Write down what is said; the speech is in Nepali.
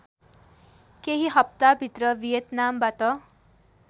केही हफ्ताभित्र भियतनामबाट